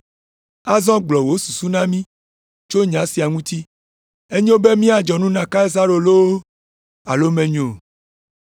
Azɔ gblɔ wò susu na mí tso nya sia ŋuti. Enyo be míadzɔ nu na Kaisaro loo alo menyo o.”